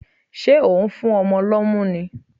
Ṣé ò ń fún ọmọ lọ́mú ni?